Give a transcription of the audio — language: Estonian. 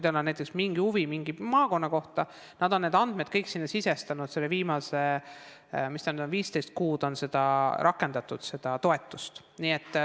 Nad on kõik oma andmed sinna sisestanud, viimased 15 kuud on seda toetust rakendatud.